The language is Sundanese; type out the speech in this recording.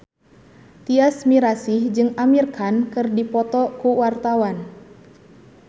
Tyas Mirasih jeung Amir Khan keur dipoto ku wartawan